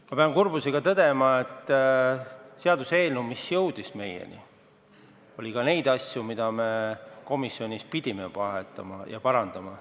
Ma pean kurbusega tõdema, et seaduseelnõus, mis meieni jõudis, oli ka neid asju, mida me komisjonis pidime vahetama ja parandama.